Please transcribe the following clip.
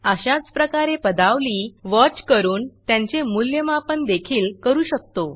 अशाच प्रकारे पदावली वॉच करून त्यांचे मूल्यमापन देखील करू शकतो